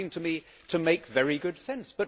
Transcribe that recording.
That would seem to me to make very good sense.